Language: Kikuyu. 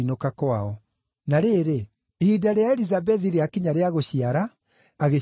Na rĩrĩ, ihinda rĩa Elizabethi rĩakinya rĩa gũciara, agĩciara kahĩĩ.